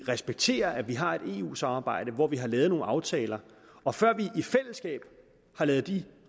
respekterer at vi har et eu samarbejde hvor vi har lavet nogle aftaler og før vi i fællesskab har lavet de